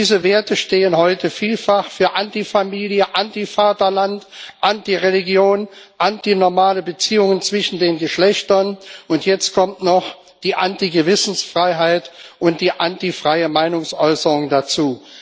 Diese Werte stehen heute vielfach für Anti Familie, Anti Vaterland, Anti Religion, anti normale Beziehungen zwischen den Geschlechtern, und jetzt kommen noch die Anti Gewissensfreiheit und die anti freie Meinungsäußerung dazu.